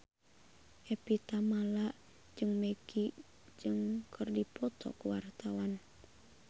Evie Tamala jeung Maggie Cheung keur dipoto ku wartawan